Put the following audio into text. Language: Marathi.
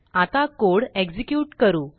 आताकोड एक्झेक्यूट करू